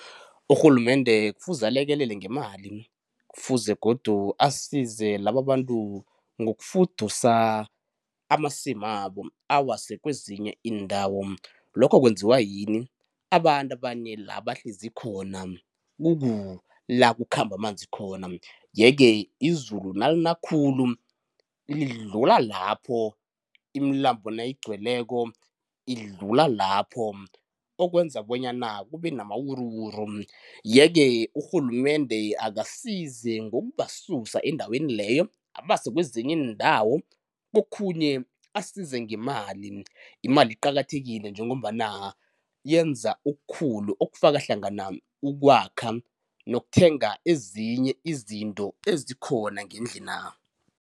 Urhulumende kufuze alekelele ngemali, kufuze godu asize lababantu ngokufudusa amasimabo awase kwezinye iindawo. Lokho kwenziwa yini? Abantu abanye la bahlezi khona kuku la kukhamba amanzi khona, yeke izulu nalina khulu lidlula lapho imilambo nayigcweleko idlula lapho, okwenza bonyana kube namawuruwuru. Yeke urhulumende akasize ngokubasusa endaweni leyo abase kwezinye iindawo. Kokhunye asize ngemali, imali iqakathekile njengombana yenza okukhulu okufaka hlangana ukwakha nokuthenga ezinye izinto ezikhona ngendlina.